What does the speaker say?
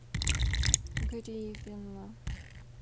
гривина